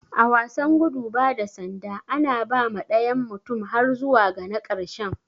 A wasan gudu bada sanda, ana ba ma dayan mutum har zuwa ga na karshen.